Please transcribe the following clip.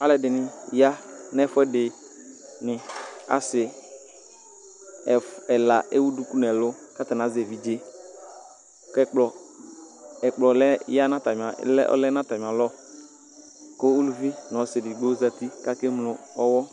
alɛ dɩnɩ ya nʊ ɛfʊɛdɩ asɩ ɛla ewʊ dʊkʊ nʊ ɛlʊ atanɩ azɛ evɩdje ɛplɔ lɛ nʊ atamɩa lɔ kʊ ʊʋɩdɩ nʊ ɔsodɩ ya nʊ atamɩalɔ